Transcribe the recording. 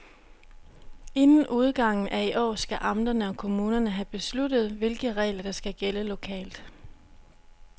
Inden udgangen af i år skal amterne og kommunerne have besluttet, hvilke regler der skal gælde lokalt.